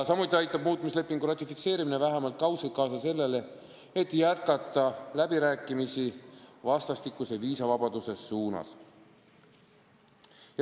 Samuti aitab muutmislepingu ratifitseerimine vähemalt kaudselt kaasa sellele, et jätkata läbirääkimisi vastastikuse viisavabaduse nimel.